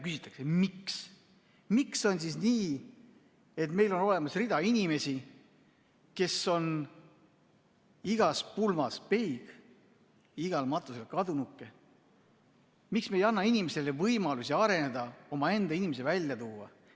Küsitakse, miks on nii, et meil on olemas rida inimesi, kes on igas pulmas peigmehed, igal matusel kadunukesed, miks me ei anna inimestele võimalust areneda, omaenda inimesi välja tuua.